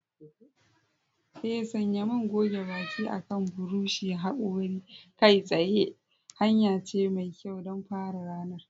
Ee, sanya man goge baki akan buroshin hakori kai tsaye hanya ce mai kyau don fara ranar.